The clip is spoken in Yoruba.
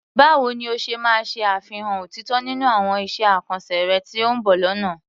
Báwo ni o ṣe máa ṣe àfihàn òtítọ́ nínú àwọn iṣẹ́ àkànṣe rẹ tí ó ń bọ̀ lọ́nà?